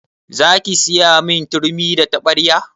Zaki siyamin turmi da taɓarya?